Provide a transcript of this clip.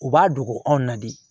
U b'a dogo anw na de